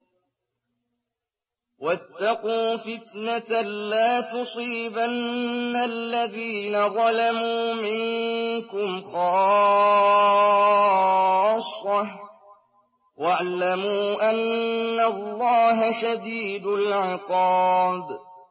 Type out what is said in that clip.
وَاتَّقُوا فِتْنَةً لَّا تُصِيبَنَّ الَّذِينَ ظَلَمُوا مِنكُمْ خَاصَّةً ۖ وَاعْلَمُوا أَنَّ اللَّهَ شَدِيدُ الْعِقَابِ